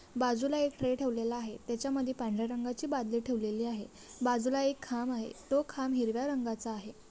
बाजूला एक ट्रे ठेवलेला आहे त्याच्या मध्ये पांढऱ्या रंगाची बादली ठेवलेली आहे बाजूला एक खांब आहे तो खांब हिरव्या रंगाचा आहे.